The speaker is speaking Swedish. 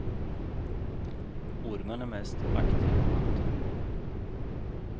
Ormen är mest aktiv på natten.